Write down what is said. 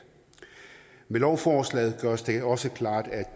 med lovforslaget gøres det også klart at